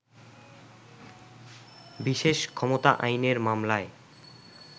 বিশেষ ক্ষমতা আইনের মামলায়